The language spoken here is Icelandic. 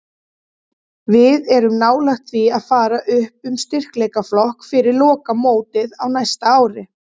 Við erum nálægt því að fara upp um styrkleikaflokk fyrir lokamótið á næsta ári.